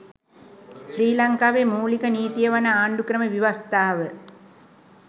ශ්‍රී ලංකාවේ මූලික නීතිය වන ආණ්ඩුක්‍රම ව්‍යවස්ථාව